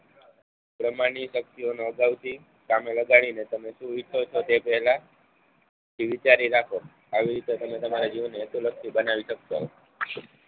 બ્રહ્માંડની શક્તિઓનો અગાઉથી કામે લગાડીને તમે શું ઈચ્છો છો તે પેહલા તે વિચારી રાખો આવી રીતે તમે તમારા જીવનમાં હેતુલક્ષી બનાવી શકશો